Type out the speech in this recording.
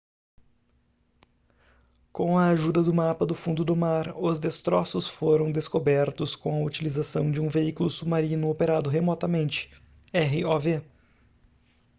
com a ajuda do mapa do fundo do mar os destroços foram descobertos com a utilização de um veículo submarino operado remotamente rov